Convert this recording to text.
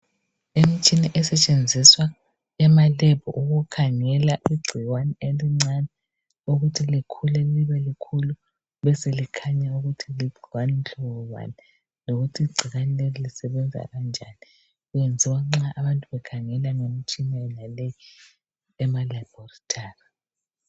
imitshina esetshenziswa ema lab ukukhangela igcikwane elincane ukuthi likhule libe likhulu libe selikhanya ukuthi ligcikwane mhlobo bani lokuthi igcikwane leli lisebenza kanjani kwenziwa nxa abantu bekhangelwa ngemitshina yonale ema laboratory